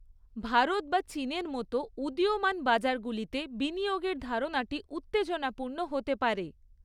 ভারত বা চীনের মতো উদীয়মান বাজারগুলিতে বিনিয়োগের ধারণাটি উত্তেজনাপূর্ণ হতে পারে।